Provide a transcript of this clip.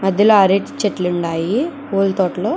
మధ్యలో అరటి చెట్లు ఉండాయి పూల తోటలో.